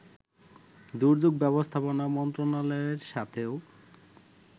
দুর্যোগ ব্যবস্থাপনা মন্ত্রনালয়ের সাথেও